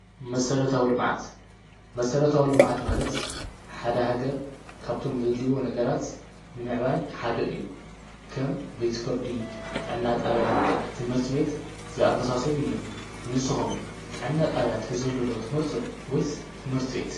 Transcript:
መስረታዊ ልምዓት መስረታዊ ልምዓት ማለት ሓደ ሃገር ካብቶም ዘድልይዮ ነገራት ንምዕባይ ሓደ እዩ፤ ከም ቤት ፍርዲ ፣ ጥዕና ጣብያ ፣ ትምህርቲ ቤት ዝኣመሳሰሉ እዮም፤ ንስኩም ጥዕና ጣብያ እንተዝህሉ ዶ ትመርፁ ወይስ ትምህርቲ ቤት?